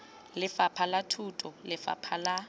lefapha la thuto lefapha la